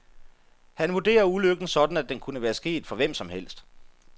Han vurderer ulykken sådan, at den kunne være sket for hvem som helst.